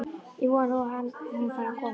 Ég vona að hún fari að koma.